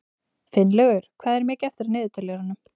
Finnlaugur, hvað er mikið eftir af niðurteljaranum?